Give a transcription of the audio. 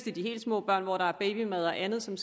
er de helt små børn hvor der er babymad og andet som